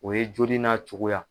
O ye joli n'a cogoya.